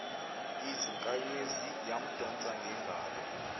izinkanyezi yamdonsa ngengalo